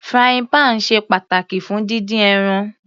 Frying pan ṣe pàtàkì fún dídín ẹran.